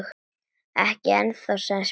Ekki ennþá- sagði Smári.